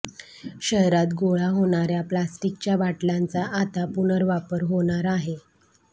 शहरात गोळा होणार्या प्लास्टिकच्या बाटल्यांचा आता पुनर्वापर होणार आहे